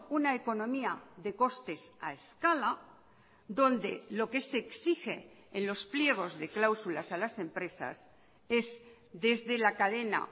una economía de costes a escala donde lo que se exige en los pliegos de cláusulas a las empresas es desde la cadena